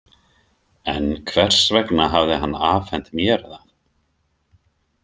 En hvers vegna hafði hann afhent mér það?